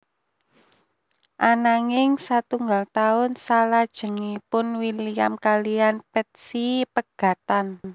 Ananging satunggal taun salajengipun William kaliyan Patsy pegatan